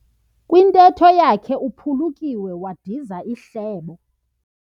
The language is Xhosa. Kwintetho yakhe uphulukiwe wadiza ihlebo.